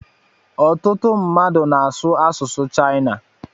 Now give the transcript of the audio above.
Ọtụtụ mmadụ na-asu asụsụ Chaịna